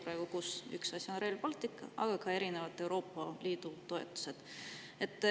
Üks on Rail Baltic, aga teiseks on siin ka erinevad Euroopa Liidu toetused.